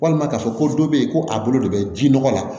Walima ka fɔ ko dɔ be yen ko a bolo de be jinɔgɔ la